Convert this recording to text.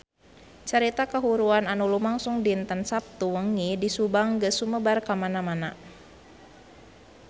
Carita kahuruan anu lumangsung dinten Saptu wengi di Subang geus sumebar kamana-mana